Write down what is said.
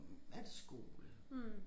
Hm er det skole